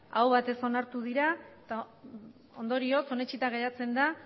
aho batez onartu dira eta ondorioz onetsita geratzen da